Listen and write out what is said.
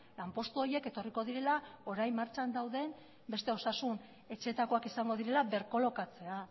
lanpostu horiek etorriko direla orain martxan dauden beste osasun etxeetakoak izango direla berkolokatzea